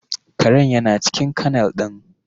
Karen yana cikin kennel ɗin